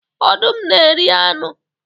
Ọdụm na eri anu